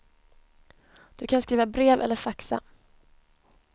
Du kan skriva brev eller faxa.